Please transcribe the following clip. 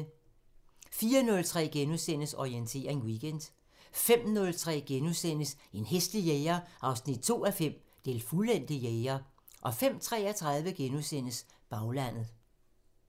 04:03: Orientering Weekend * 05:03: En hæslig jæger 2:5 – Den fuldendte jæger * 05:33: Baglandet *